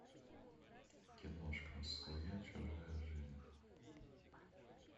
киношка своя чужая жизнь